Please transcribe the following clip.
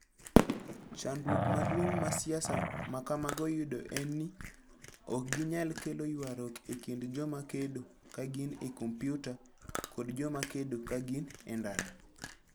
Chandruok maduong ' ma siasa ma kamago yudo en ni, ok ginyal kelo ywaruok e kind joma kedo ka gin e kompyuta kod joma kedo ka gin e ndara.